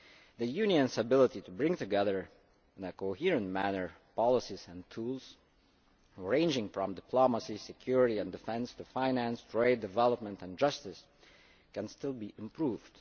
The Union's ability to bring together, in a coherent manner, policies and tools ranging from diplomacy, security and defence to finance, trade, development and justice can still be improved.